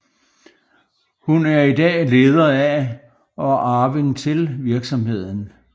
Hun er i dag leder af og arving til virksomheden